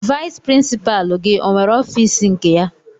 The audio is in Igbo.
Vayis pirinsipaalu gị ọnwere ọfiisi nke ya?